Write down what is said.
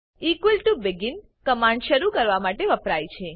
equal to begin command શરુ કરવા માટે વપરાય છે